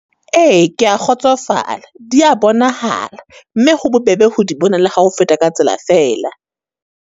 Ee, ke ya kgotsofala. Di ya bonahala, mme ho bobebe ho di bona le ha o feta ka tsela fela.